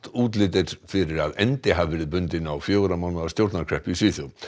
útlit er fyrir að endi hafi verið bundinn á fjögurra mánaða stjórnarkreppu í Svíþjóð